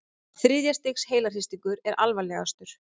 Þriðja stigs heilahristingur er alvarlegastur.